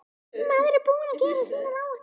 Maður er búinn að gera sínar áætlanir.